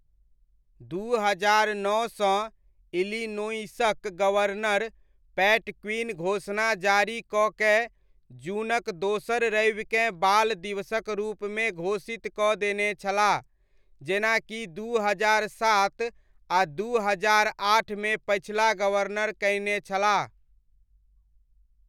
दू हजार नओसँ इलिनोइसक गवर्नर पैट क्विन घोषणा जारी कऽ कए जूनक दोसर रविकेँ बाल दिवसक रूपमे घोषित कऽ देने छलाह जेना कि दू हजार सात आ दू हजार आठमे पछिला गवर्नर कयने छलाह।